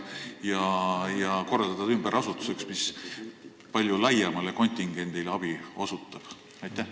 Võib-olla muuta see hoopis tööametiks, mis palju laiemale kontingendile abi osutab?